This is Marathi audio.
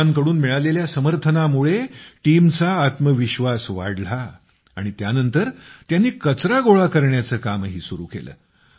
लोकांकडून मिळालेल्या समर्थनामुळे टीमचा आत्मविश्वास वाढला आणि त्यानंतर त्यांनी कचरा गोळा करण्याचं कामही सुरू केलं